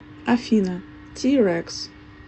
афина ти рекс